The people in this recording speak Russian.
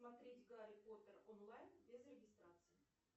смотреть гарри поттер онлайн без регистрации